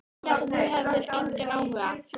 Ég hélt að þú hefðir engan áhuga.